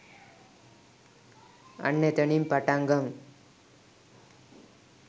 අන්න එතනින් පටං ගමු